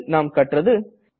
இதில் நாம் கற்றது